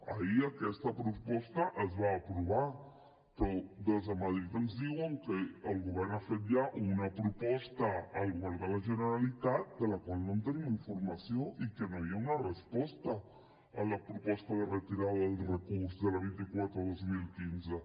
ahir aquesta proposta es va aprovar però des de madrid ens diuen que el govern ha fet ja una proposta al govern de la generalitat de la qual no en tenim informació i que no hi ha una resposta a la proposta de retirada del recurs de la vint quatre dos mil quinze